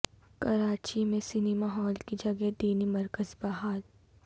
کراچی میں cinema hall کی جگہ دینی مرکز بحال